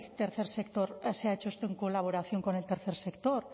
se ha hecho esto en colaboración con el tercer sector